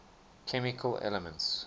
chemical elements